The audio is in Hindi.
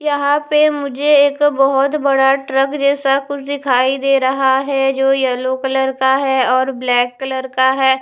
यहाँ पे मुझे एक बहुत बड़ा ट्रैक जैसा कुछ दिखाई दे रहा है जो येलो कलर का है और ब्लैक कलर है।